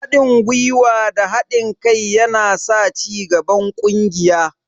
Haɗin gwuiwa da haɗin kai yana sa cigaban ƙungiya.